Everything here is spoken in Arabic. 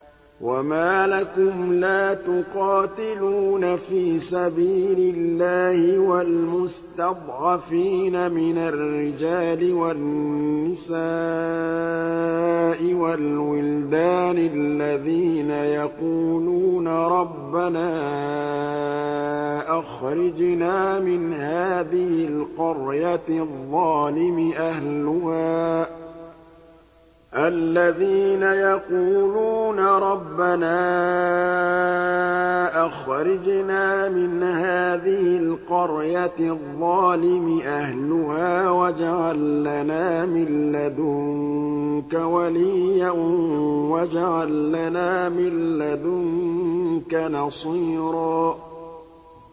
وَمَا لَكُمْ لَا تُقَاتِلُونَ فِي سَبِيلِ اللَّهِ وَالْمُسْتَضْعَفِينَ مِنَ الرِّجَالِ وَالنِّسَاءِ وَالْوِلْدَانِ الَّذِينَ يَقُولُونَ رَبَّنَا أَخْرِجْنَا مِنْ هَٰذِهِ الْقَرْيَةِ الظَّالِمِ أَهْلُهَا وَاجْعَل لَّنَا مِن لَّدُنكَ وَلِيًّا وَاجْعَل لَّنَا مِن لَّدُنكَ نَصِيرًا